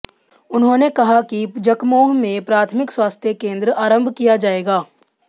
उन्होंने कहा कि जकमोह में प्राथमिक स्वास्थ्य केन्द्र आरम्भ किया जाएगा